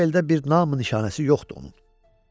Bu eldə bir nam-nişanəsi yoxdur onun.